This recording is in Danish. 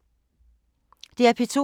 DR P2